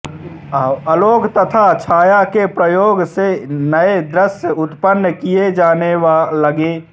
आलोक तथा छाया के प्रयोग से नए दृय उत्पन्न किए जाने लगे